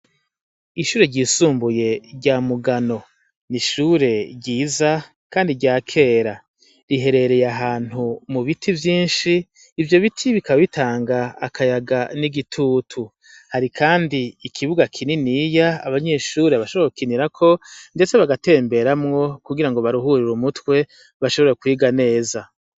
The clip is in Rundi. Ishure ryisumbuye rya mugano nishure ryiza, kandi rya kera riherereye ahantu mu biti vyinshi ivyo biti bikabitanga akayaga n'igitutu hari, kandi ikibuga kininiya abanyishure bashobokinirako, ndetse bagatemberamwo kugira ngo baria uhurira umutwe bashobore kwiga neza.